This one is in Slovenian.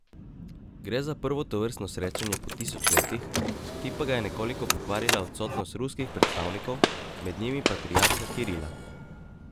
Gre za prvo tovrstno srečanje po tisoč letih, ki pa ga je nekoliko pokvarila odsotnost ruskih predstavnikov, med njimi patriarha Kirila.